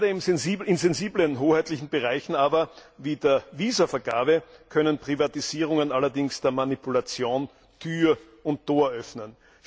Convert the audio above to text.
Gerade in sensiblen hoheitlichen Bereichen wie der Visavergabe können Privatisierungen allerdings der Manipulation Tür und Tor öffnen.